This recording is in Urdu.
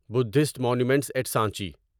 buddhist monuments at Sanchi